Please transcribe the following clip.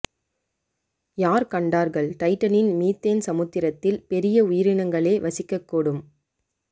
யார் கண்டார்கள் டைட்டனின் மீதேன் சமுத்திரத்தில் பெரிய உயிரினங்களே வசிக்கக் கூடும்